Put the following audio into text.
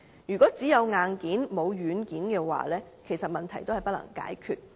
如果只有硬件，而沒有軟件，其實問題仍然不能解決。